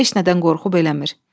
Heç nədən qorxub eləmir.